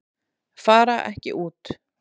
Fara ekki út